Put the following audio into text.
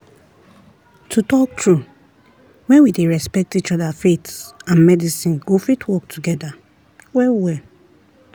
to talk true when we dey respect each other faith and medicine go fit work together well-well.